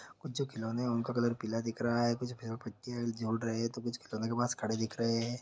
कुछ जो खिलौने हैं उनका का कलर पीला दिख रहा है कुछ पेर पत्तियां भी झूल रहे है तो कुछ खिलौने के पास खड़े दिख रहे हे ।